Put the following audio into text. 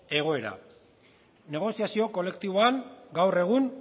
egoera negoziazio kolektiboan gaur egun